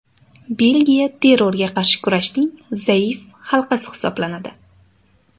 Belgiya terrorga qarshi kurashning zaif halqasi hisoblanadi.